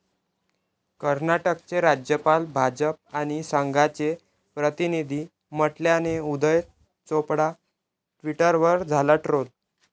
कर्नाटकचे राज्यपाल 'भाजप आणि संघा'चे प्रतिनिधी म्हटल्याने उदय चोपडा ट्विटरवर झाला ट्रोल